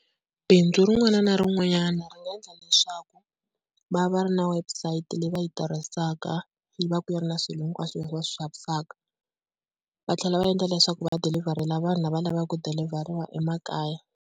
Bindzu rin'wana na rin'wanyana ri nga endla leswaku va va va ri na website leyi va yi tirhisaka yi vaka yi ri na swilo hinkwaswo leswi va swi xavisaka. Va tlhela va endla leswaku va dilivharela vanhu lava lavaka ku dilivheriwa emakaya.